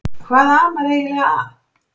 Hvað amar eiginlega að?